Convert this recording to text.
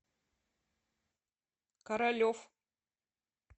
королев